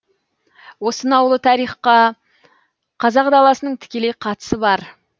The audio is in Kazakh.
осынау ұлы тарихқа қазақ даласының тікелей қатысы бар